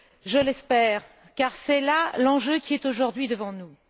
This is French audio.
Je l'espère car c'est là l'enjeu qui est aujourd'hui devant nous.